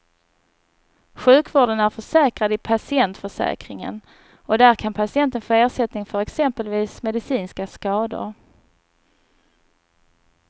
Sjukvården är försäkrad i patientförsäkringen och där kan patienten få ersättning för exempelvis medicinska skador.